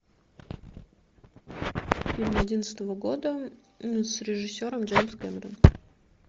фильм одиннадцатого года с режиссером джеймс кэмерон